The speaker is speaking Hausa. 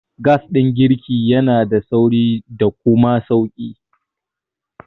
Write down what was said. Gas ɗin girki yanada sauri da kuma sauƙi.